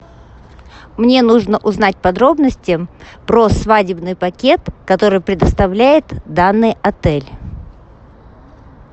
мне нужно узнать подробности про свадебный пакет который предоставляет данный отель